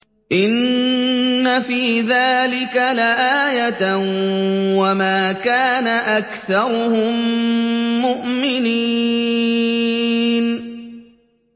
إِنَّ فِي ذَٰلِكَ لَآيَةً ۖ وَمَا كَانَ أَكْثَرُهُم مُّؤْمِنِينَ